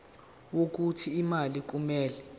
wokuthi imali kumele